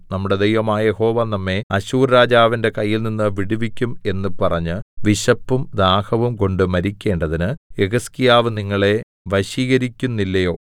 നമ്മുടെ ദൈവമായ യഹോവ നമ്മെ അശ്ശൂർരാജാവിന്റെ കയ്യിൽനിന്ന് വിടുവിക്കും എന്ന് പറഞ്ഞ് വിശപ്പും ദാഹവും കൊണ്ട് മരിക്കേണ്ടതിന് യെഹിസ്കീയാവ് നിങ്ങളെ വശീകരിക്കുന്നില്ലയോ